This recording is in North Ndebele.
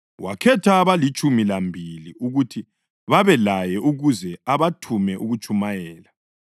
Wakhetha abalitshumi lambili ukuthi babelaye ukuze abathume ukuyatshumayela